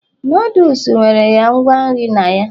noodles nwere ya ngwa nri na ya